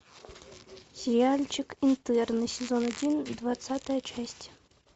сериальчик интерны сезон один двадцатая часть